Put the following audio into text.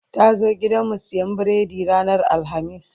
ta zo gidanmu siyan biredi ranar alhamis